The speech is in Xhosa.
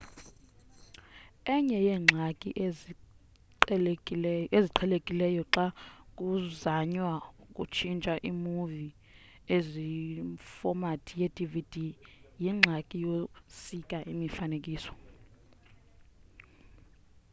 enye yeengxaki eziqhelekileyo xa kuzanywa ukutshintsha imuvi ekwifomathi ye-dvd yingxaki yokusika imifanekiso